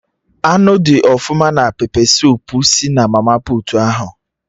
Anụ dị ọfụma na pepe suup si na mama puutu ahụ